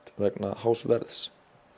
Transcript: vegna hás verðs